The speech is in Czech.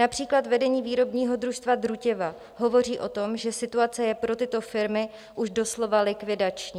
Například vedení výrobního družstva Drutěva hovoří o tom, že situace je pro tyto firmy už doslova likvidační.